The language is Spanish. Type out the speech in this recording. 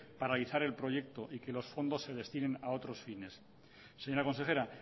paralizar el proyecto y que los fondos se destinen a otros fines señora consejera